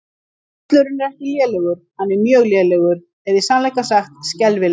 Völlurinn er ekki lélegur, hann er mjög lélegur eða í sannleika sagt skelfilegur.